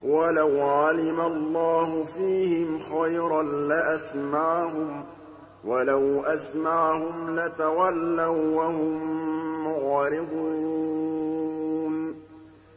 وَلَوْ عَلِمَ اللَّهُ فِيهِمْ خَيْرًا لَّأَسْمَعَهُمْ ۖ وَلَوْ أَسْمَعَهُمْ لَتَوَلَّوا وَّهُم مُّعْرِضُونَ